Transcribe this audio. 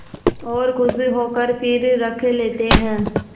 और खुश होकर फिर रख लेते हैं